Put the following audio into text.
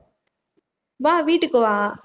வா வீட்டுக்கு வா